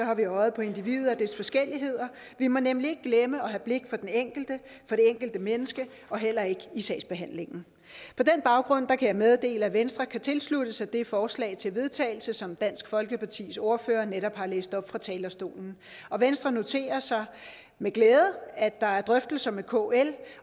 har vi øjet på individet og dets forskelligheder vi må nemlig ikke glemme at have blik for den enkelte for det enkelte menneske heller ikke i sagsbehandlingen på den baggrund kan jeg meddele at venstre kan tilslutte sig det forslag til vedtagelse som dansk folkepartis ordfører netop har læst op fra talerstolen venstre noterer sig med glæde at der er drøftelser med kl